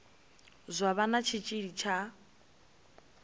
zwa vha na tshitshili tsha